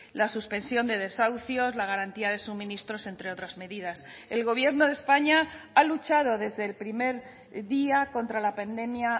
la suspensión de desahucios la garantía de suministros entre otras medidas el gobierno de españa ha luchado desde el primer día contra la pandemia